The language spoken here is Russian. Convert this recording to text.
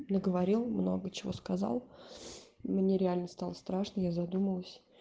наговорил много чего сказал мне реально стало страшно я задумалась